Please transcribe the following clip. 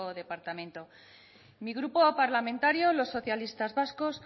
departamento mi grupo parlamentario los socialistas vascos